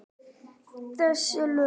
Þessi lög?